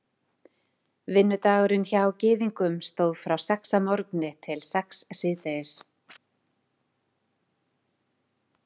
vinnudagurinn hjá gyðingum stóð frá sex að morgni til sex síðdegis